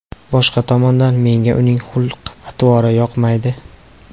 Boshqa tomondan, menga uning xulq-atvori yoqmaydi.